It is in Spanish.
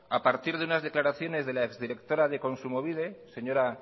a partir de unas declaraciones de la exdirectora de kontsumobide señora